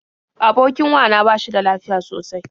Abokin wa na ba shi da lafiya sosai.